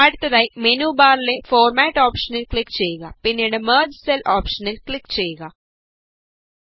അടുത്തതായി മെനു ബാറിലെ ഫോര്മാറ്റ് ഓപ്ഷനില് ക്ലിക് ചെയ്യുക പിന്നീട് മെര്ജ് സെല് ഓപ്ഷനില് ക്ലിക് ചെയ്യുക